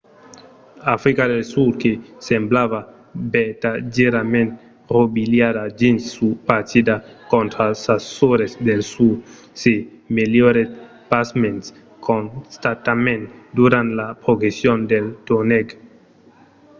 africa del sud que semblava vertadièrament rovilhada dins sa partida contra sas sòrres del sud se melhorèt pasmens constantament durant la progression del torneg